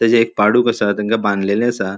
तेजे एक पाडुक असा. तेंका बानलेले असा.